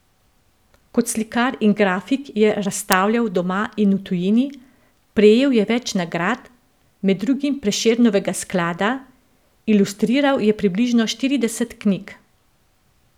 Kot slikar in grafik je razstavljal doma in v tujini, prejel je več nagrad, med drugim Prešernovega sklada, ilustriral je približno štirideset knjig...